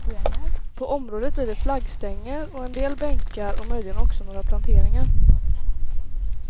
På området blir det flaggstänger och en del bänkar och möjligen också några planteringar.